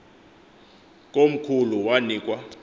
komkhulu wani kwa